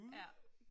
Ja